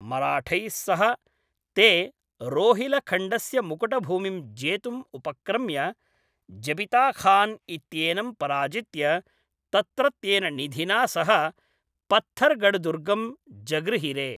मराठैःसह ते रोहिलखण्डस्य मुकुटभूमिं जेतुम् उपक्रम्य, ज़बिता खान् इत्येनं पराजित्य, तत्रत्येन निधिना सह पत्थर्गढदुर्गं जगृहिरे।